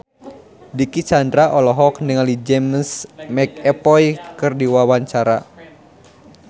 Dicky Chandra olohok ningali James McAvoy keur diwawancara